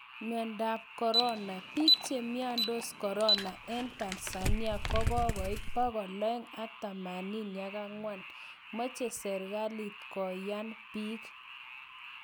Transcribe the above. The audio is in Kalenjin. Miondap corona:bik chemiondos corona eng Tanzania kokoit 284,moche srkalit koyan bik.